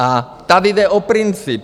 A tady jde o princip.